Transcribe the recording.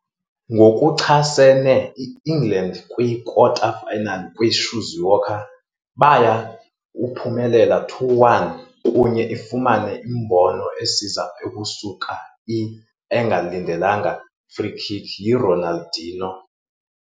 Ngokuchasene England kwi-kwikota-finals kwi - Shizuoka, baya uphumelele 2-1, kunye ifumana imbono esiza ukusuka i-engalindelekanga free-kick yi-Ronaldinho.